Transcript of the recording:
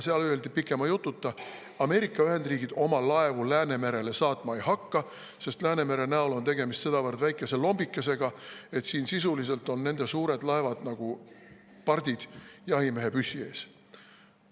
Seal öeldi pikema jututa: Ameerika Ühendriigid oma laevu Läänemerele saatma ei hakka, sest Läänemere näol on tegemist sedavõrd väikese lombikesega, et nende suured laevad on siin sisuliselt nagu pardid jahimehe püssi ees.